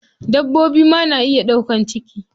Dabbobi ma na iya ɗaukan ciki.